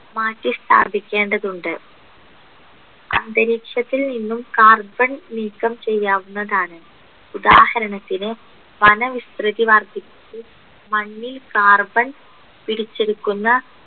മാറ്റി സ്ഥാപിക്കേണ്ടതുണ്ട് അന്തരീക്ഷത്തിൽ നിന്നും carbon നീക്കം ചെയ്യാവുന്നതാണ് ഉദാഹരണത്തിന് വനവിസ്‌തൃതി വർധിക്കും മണ്ണിൽ carbon പിടിച്ചെടുക്കുന്ന